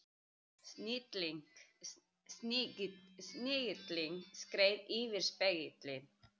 Snigillinn skreið yfir spegilinn.